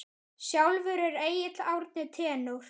Sjálfur er Egill Árni tenór.